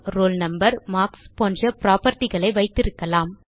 name roll number marks போன்ற property களை வைத்திருக்கலாம்